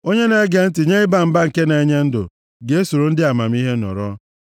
Onye na-ege ntị nye ịba mba nke na-enye ndụ ga-esoro ndị amamihe nọrọ.